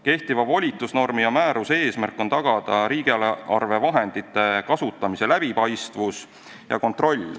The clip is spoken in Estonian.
Kehtiva volitusnormi ja määruse eesmärk on tagada riigieelarvevahendite kasutamise läbipaistvus ja kontroll.